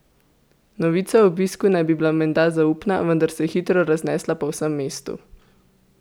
Novica o obisku naj bi bila menda zaupna, vendar se je hitro raznesla po vsem mestu.